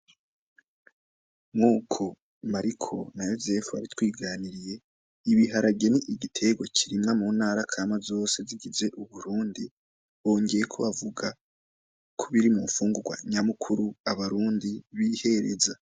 Nkuko Mariko na Yozefu batwiganiriye , ibiharage ni igitegwa birimwa mu ntara kama zose zigize uburundi , bongeyeko bavuga ko biri mu mfungurwa nyamukuru abarundi bihereza .